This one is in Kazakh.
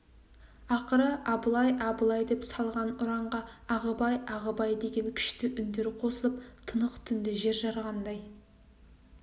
ақыры абылай абылай деп салған ұранға ағыбай ағыбай деген күшті үндер қосылып тынық түнді жер жарғандай